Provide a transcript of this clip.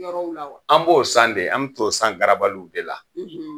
Yɔrɔw la wa? An b'o san de, an bɛ t'o san garabaliw de la.